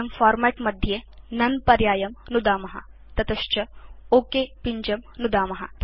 वयं फॉर्मेट् मध्ये नोने पर्यायं नुदाम ततश्च ओक पिञ्जं नुदाम